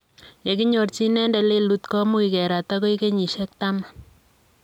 Yekiyorjin inendet lelut komuch kerat agoi geyisiek taman.